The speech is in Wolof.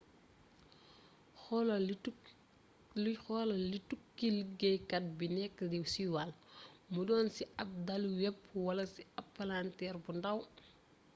xoolal li tukki liggéeykat bi nekk di siiwal mu doon ci ab daluweb wala ci ab palanteer bu ndàw